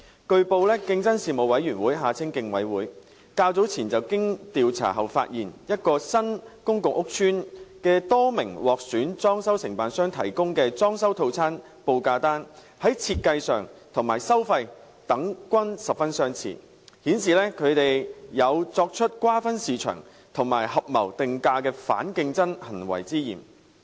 據報，競爭事務委員會較早前經調查後發現，一個新公共屋邨的多名獲選裝修承辦商提供的裝修套餐報價單在設計和收費等均十分相似，顯示他們有作出瓜分市場及合謀定價的反競爭行為之嫌。